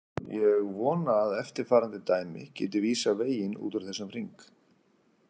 Ég vona að eftirfarandi dæmi geti vísað veginn út úr þessum hring.